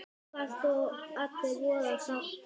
Einfalt og allir voða sáttir!